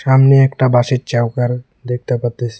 সামনে একটা বাঁশের চাউকার দেখতে পারতাসি।